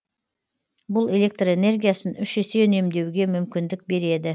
бұл электр энергиясын үш есе үнемдеуге мүмкіндік береді